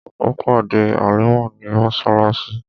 Ó pàdé Halimah ní mọ́ṣáláṣí.